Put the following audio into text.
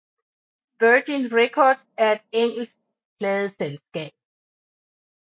Virgin Records er et engelsk pladeselskab